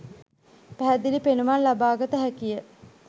පැහැදිලි පෙනුමක් ලබාගත හැකිය